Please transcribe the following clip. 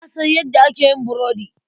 Na san yadda ake yin burudi.